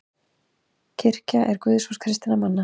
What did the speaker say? Kirkja er guðshús kristinna manna.